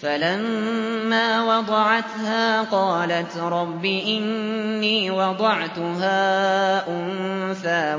فَلَمَّا وَضَعَتْهَا قَالَتْ رَبِّ إِنِّي وَضَعْتُهَا أُنثَىٰ